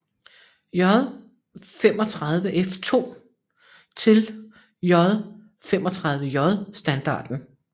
J 35F2 til J 35J standarden